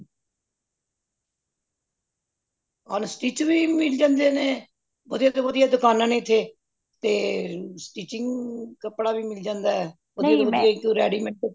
unstitch ਵੀ ਮਿਲ ਜਾਂਦੇ ਨੇ ਵਧੀਆ ਤੋਂ ਵਧੀਆ ਦੁਕਾਨਾਂ ਨੇ ਇਹਥੇ ਤੇ sticking ਕਪੜਾ ਵੀ ਮਿਲ ਜਾਂਦਾ readymade